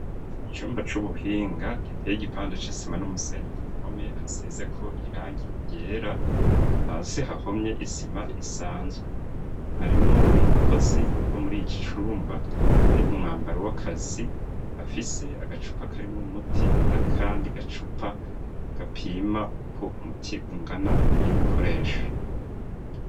Icumba c'ubuhinga giteye igipando c'isima n'umusenyi kumpome hasizeko irangi ryera hasi hahomye isima isanzwe, harimwo umukozi wo muri iki cumba ari mu mwambaro w'akazi, afise agacupa karimwo umuti n'akandi gacupa gapima uko umuti ungana agiye gukoresha.